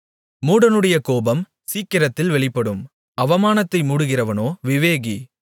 மூடனுடைய கோபம் சீக்கிரத்தில் வெளிப்படும் அவமானத்தை மூடுகிறவனோ விவேகி